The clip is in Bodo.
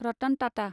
रतन टाटा